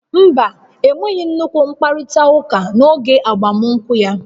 Mba, enweghị nnukwu mkparita uka n'oge agbamunkwụ ya